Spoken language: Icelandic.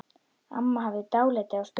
Amma hafði dálæti á spilum.